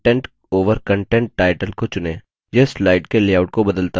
यह slide के layout को बदलता है